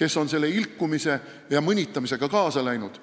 kes on selle ilkumise ja mõnitamisega kaasa läinud.